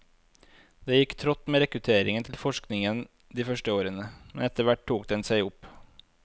Det gikk trått med rekrutteringen til forskningen de første årene, men etterhvert tok den seg opp.